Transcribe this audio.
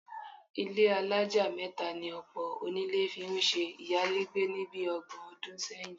Ilé alájà mẹ́ta ni ọ̀pọ̀ onílé fi ń ṣe ìyálégbé ni bí ọgbọ̀n ọdún sẹ́yìn